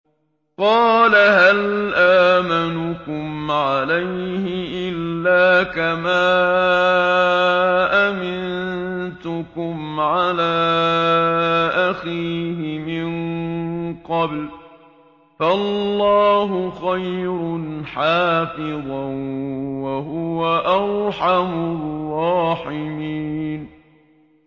قَالَ هَلْ آمَنُكُمْ عَلَيْهِ إِلَّا كَمَا أَمِنتُكُمْ عَلَىٰ أَخِيهِ مِن قَبْلُ ۖ فَاللَّهُ خَيْرٌ حَافِظًا ۖ وَهُوَ أَرْحَمُ الرَّاحِمِينَ